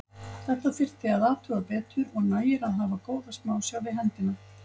Þetta þyrfti að athuga betur og nægir að hafa góða smásjá við hendina.